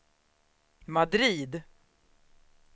Madrid